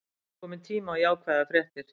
Kominn tími á jákvæðar fréttir